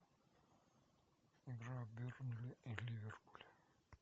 игра бернли и ливерпуль